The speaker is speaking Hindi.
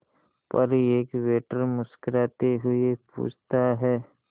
पर एक वेटर मुस्कुराते हुए पूछता है